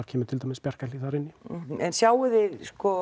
kemur til dæmis Bjarkarhlíð inn en sjáið þið